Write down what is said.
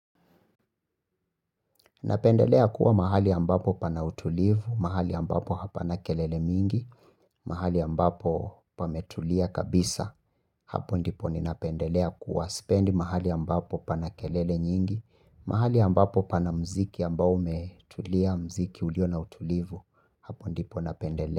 Napendelea kuwa mahali ambapo pana utulivu, mahali ambapo hapana kelele mingi, mahali ambapo pametulia kabisa, hapo ndipo ni napendelea kuwa spendi mahali ambapo pana kelele nyingi, mahali ambapo pana mziki ambao umetulia mziki ulio na utulivu, hapo ndipo napendelea.